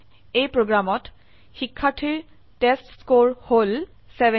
এই প্ৰোগ্ৰামত শিক্ষাৰ্থীৰ টেষ্টস্কৰে হল 70